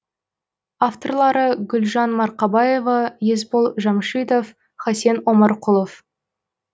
авторлары гүлжан марқабаева есбол жамшитов хасен омарқұлов